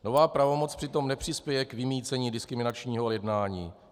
Nová pravomoc přitom nepřispěje k vymýcení diskriminačního jednání.